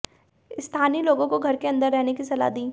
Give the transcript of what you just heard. स्थानीय लोगों को घर के अंदर रहने की सलाह दी